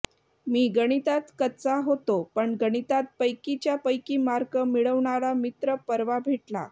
मी गणितात कच्चा होतो पण गणितात पैकीच्या पैकी मार्क मिळवणारा मित्र परवा भेटला